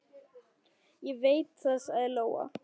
Ég veit það, sagði Lóa.